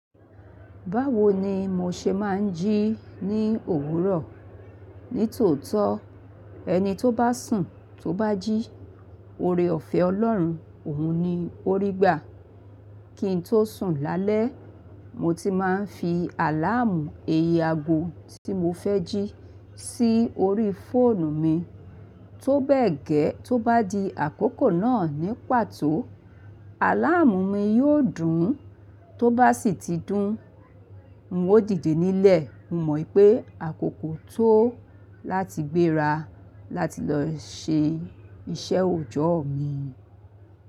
Báwo ni mo ṣe máa ń jí ní òwúrọ̀? Nítòótó, ẹni tó bá sùn tó bá jí, ore ọ̀fẹ́ Ọlọ́run, òun ni ó rí gbà. Kí n tó sùn lálẹ́, mo ti máa ń fi àláàmù iye ago tí mo fẹ́ jí sí orí fóònù mi. Tó bẹ́ẹ̀ gẹ́, tó bá di àkókò náà ní pàtó, àláàmù mi yóò dún. Tó bá sì ti dún, n ó dìde nílẹ̀. Mo mọ̀ i pé àkókò tó láti gbéra láti lọ ṣe iṣẹ́ òòjọ́ mi.